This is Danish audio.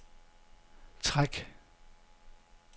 træk